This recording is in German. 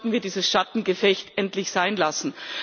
Darum sollten wir dieses Schattengefecht endlich sein lassen.